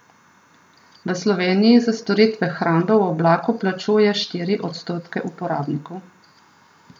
V Sloveniji za storitve hrambe v oblaku plačuje štiri odstotke uporabnikov.